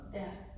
Ja